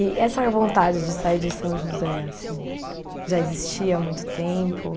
E essa vontade de sair de São José, assim, já existia há muito tempo?